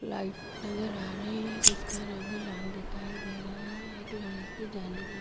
light नज़र आ रही है जिसका रंग लाल दिखाई दे रहा है एक लोहे की जाली नज़र--